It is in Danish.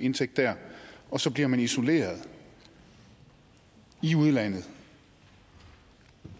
indtægt der og så bliver man isoleret i udlandet